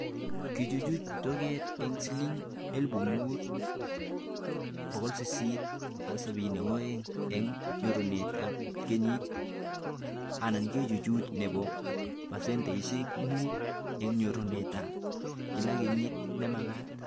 Kichuchuch toget eng siling.5872 eng nyorunetab kenyit anankachuchuch nebo 5% eng nyorunetab kila kenyit nemagat